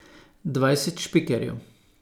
Dvajset špikerjev?